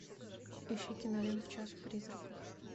ищи киноленту час призраков